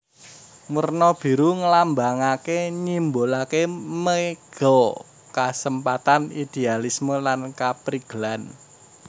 Werna biru ngelambangake nyimbolake mega kasempatan idealisme lan kaprigelan